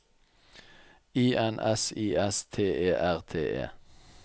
I N S I S T E R T E